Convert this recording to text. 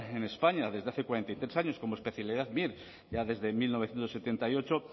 en españa desde hace cuarenta y tres años como especialidad mir ya desde mil novecientos setenta y ocho